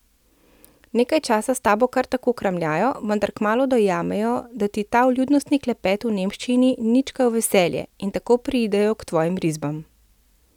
Nekaj časa s tabo kar tako kramljajo, vendar kmalu dojamejo, da ti ta vljudnostni klepet v nemščini ni nič kaj v veselje, in tako preidejo k tvojim risbam.